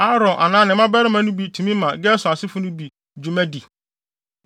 Aaron anaa ne mmabarima no bi tumi ma Gerson asefo no bi dwuma di.